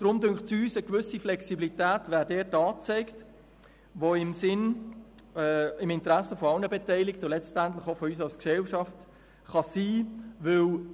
Darum wäre für uns diesbezüglich eine gewisse Flexibilität angezeigt, die im Interesse aller Beteiligten und letztendlich auch von uns als Gesellschaft liegen kann.